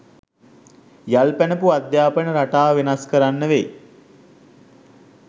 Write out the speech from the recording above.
යල් පැනපු අධ්‍යාපන රටාව වෙනස් කරන්න වෙයි.